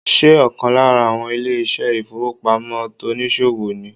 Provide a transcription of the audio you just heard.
Ṣé ọ̀kan lára àwọn ilé ìṣẹ́ ìfowópamọ́ tonìsòwò ni